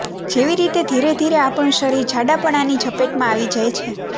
જેવી રીતે ધીરે ધીરે આપણું શરીર જાડાપણાની ઝપેટમાં આવી જાય છે